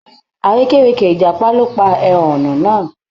Àrékérekè ìjàpá ló pa ẹhọ̀nà náà.